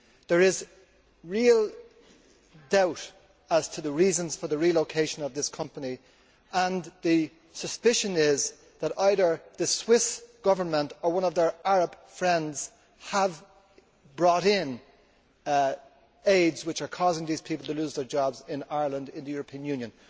There is real doubt as to the reasons for the relocation of this company and the suspicion is that either the Swiss Government or one of their Arab friends has brought in aids which are causing these people to lose their jobs in Ireland, in the European Union.